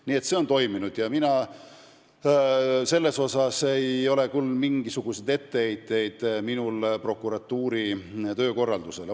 Nii et see on toiminud ja minul ei ole küll mingisuguseid etteheiteid prokuratuuri töökorraldusele.